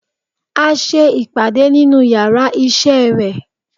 A se ìpàdé nínú yàrá isé re